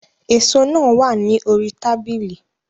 Èso náà wà ní orí tábìlì